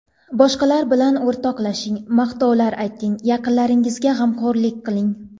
Boshqalar bilan o‘rtoqlashing, maqtovlar ayting, yaqinlaringizga g‘amxo‘rlik qiling.